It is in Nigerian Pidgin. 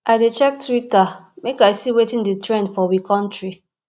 i dey check twitter make i see wetin dey trend for we country